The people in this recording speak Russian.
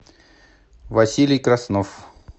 василий краснов